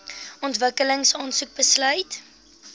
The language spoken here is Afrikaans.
ontwikkeling aansoek besluit